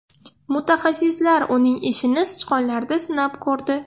Mutaxassislar uning ishini sichqonlarda sinab ko‘rdi.